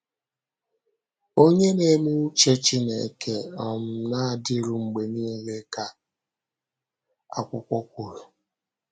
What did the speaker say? “Onye na-eme ùchè Chínèké um na-adịru mgbe niile,” ka akwụkwọ kwùrù.